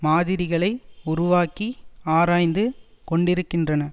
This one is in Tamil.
மாதிரிகளை உருவாக்கி ஆராய்ந்து கொண்டிருக்கின்றன